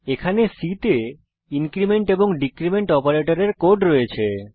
এখানে C তে increment এবং ডীক্রীমেন্ট অপারেটরের কোড রয়েছে